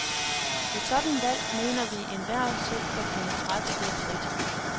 Et sådant valg mener vi, enhver selv bør kunne træffe helt frit.